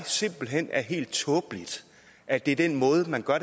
simpelt hen er helt tåbeligt at det er den måde man gør